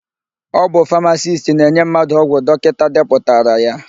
Ọ bụ famasisti na-enye mmadụ ọgwụ dọkịta depụtara ya.